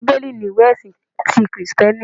Bíbélì ni ìwé ẹ̀sin ti Kìrìsìtíẹ́nì